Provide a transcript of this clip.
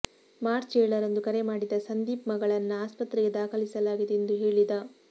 March ಏಳರಂದು ಕರೆ ಮಾಡಿದ ಸಂದೀಪ್ ಮಗಳನ್ನ ಆಸ್ಪತ್ರೆಗೆ ದಾಖಲಿಸಲಾಗಿದೆ ಎಂದು ಹೇಳಿದ